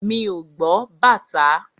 Mi ò gbọ́ bàtá.